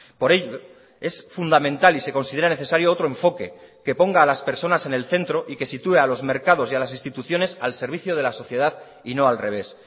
por ello es fundamental y se considera necesario otro enfoque que ponga a las personas en el centro y que sitúe a los mercados y a las instituciones al servicio de la sociedad y no al revés